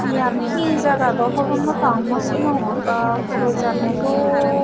eyan he jaga daw honopang no sinongor bwaa pura dol.